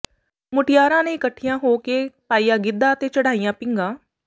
ਮੁਟਿਆਰਾਂ ਨੇ ਇਕੱਠੀਆਂ ਹੋ ਕੇ ਪਾਇਆ ਗਿੱਧਾ ਤੇ ਚੜਾਈਆਂ ਪੀਘਾਂ